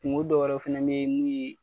Kungo dɔw yɛrɛ fana ne ye mun ye